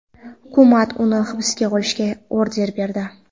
Hukumat uni hibsga olishga order berdi.